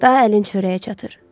Daha əlin çörəyə çatır.